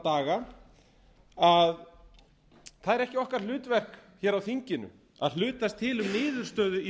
að það er ekki okkar hlutverk hér á þinginu að hlutast til um niðurstöðu í